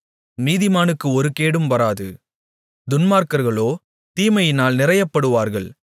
நீதிமானுக்கு ஒரு கேடும் வராது துன்மார்க்கர்களோ தீமையினால் நிறையப்படுவார்கள்